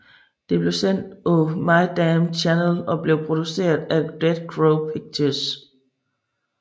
Det blev sendt på My Damn Channel og blev produceret af Dead Crow Pictures